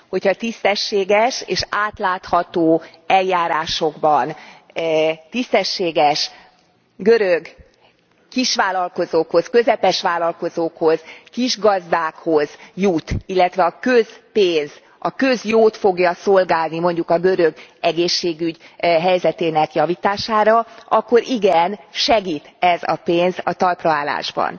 Hogyha tisztességes és átlátható eljárásokban, tisztességes görög kisvállalkozókhoz, közepes vállalkozókhoz, kisgazdákhoz jut, illetve a közpénz a közjót fogja szolgálni mondjuk a görög egészségügy helyzetének javítására akkor igen, segít ez a pénz a talpra állásban.